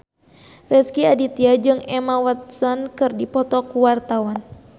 Rezky Aditya jeung Emma Watson keur dipoto ku wartawan